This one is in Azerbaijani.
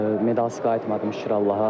Medalsız qayıtmadım şükür Allaha.